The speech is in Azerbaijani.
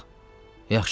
Yaxşı qızım.